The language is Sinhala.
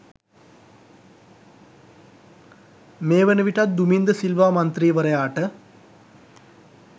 මේවන විටත් දුමින්ද සිල්වා මන්ත්‍රීවරයාට